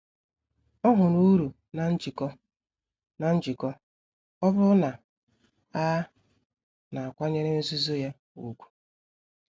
Ọ hụrụ uru na njikọ, na njikọ, ọ bụrụ na a na-akwanyere nzuzo ya ùgwù.